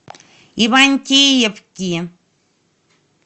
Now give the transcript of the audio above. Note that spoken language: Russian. ивантеевки